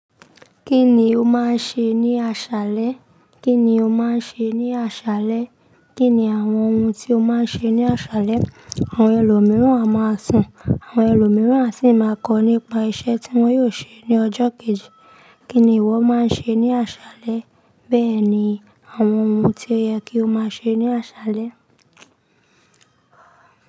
Kíni o máa ń ṣe ní aṣálẹ́? Kíni o máa ń ṣe ní aṣálẹ́? Kíni àwọn ohun tí o máa ń ṣe ní aṣálẹ́? Àwọn ẹlòmíràn a máa sùn, àwọn ẹlòmíràn a sì máa kọ́ nípa iṣẹ́ tí wọ́n yóò ṣe ní ọjọ́ kejì. Kíni ìwọ máa ń ṣe ní aṣálẹ́? Bẹ́ẹ̀ni, àwọn ohun tí o yẹ kí o máa ṣe ní aṣálẹ́.